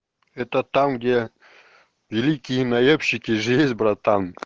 это там где великие наебщики же есть братан